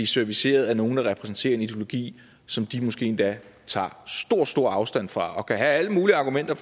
serviceret af nogle der repræsenterer en ideologi som de måske endda tager stor stor afstand fra og kan have alle mulige argumenter